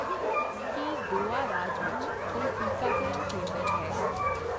ਕੀ ਗੋਆ ਰਾਜ ਵਿੱਚ ਕੋਈ ਟੀਕਾਕਰਨ ਕੇਂਦਰ ਹੈ